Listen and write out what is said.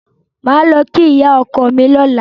Màá lọ kí ìyá ọkọ mi lọ́la.